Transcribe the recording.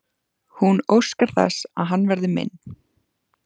Hún óskar þess að hann verði minn.